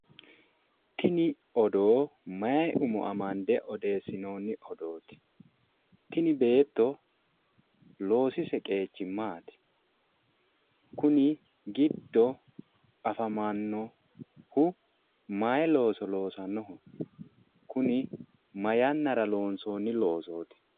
Tini odoo mayi umo amande odeessinoonni odooti? Tini beetto loosise qeechi maati? Kuni giddo afamannohu mayi looso loosannoho? Kuni ma yannara loonsoonni loosooti?